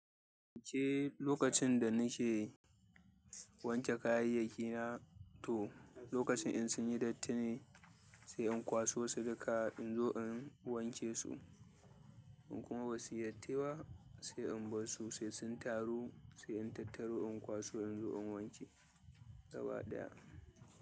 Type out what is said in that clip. Ke lokacin da nike wanke kayayyaki na to, lokacin in sun yi dattane, sai in kwaso su duka in zo in wanke su. In kuma ba su yi datti ba, sai in bar su sai sun taru sai in tattaru in kwaso in zo in wanke gaba ɗaya.